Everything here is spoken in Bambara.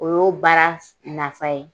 O y'o baara nafa ye.